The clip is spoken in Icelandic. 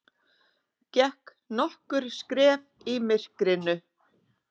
Gekk nokkur skref í myrkrinu.